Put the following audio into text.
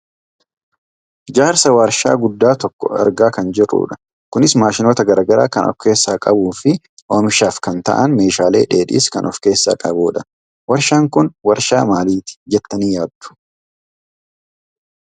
Ijaarsa waarshaa guddaa tokkoo argaa kan jirrudha. Kunis maashinoota gara garaa kan of keessaa qabuufi oomishaaf kan ta'an meeshaalee dheedhiis kan of keessaa qabudha. Waarshaan kun waarshaa maaliti jettanii yaaddu?